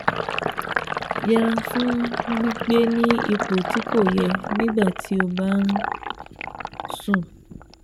Yẹra fún gbígbé ní ipò tí kò yẹ nígbà tó o bá ń sùn 4